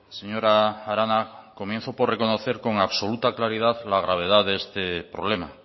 señora arana comienzo por reconocer con absoluta claridad la gravedad de este problema